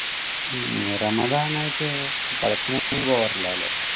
ഈ റമദാൻ ആയിട്ട് പടത്തിനൊന്നും പോകാറിലല്ലേ.